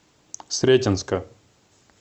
сретенска